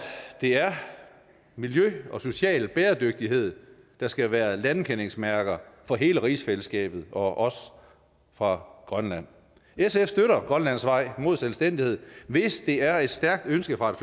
det er miljø og social bæredygtighed der skal være landkendingsmærker for hele rigsfællesskabet og også for grønland sf støtter grønlands vej mod selvstændighed hvis det er et stærkt ønske fra et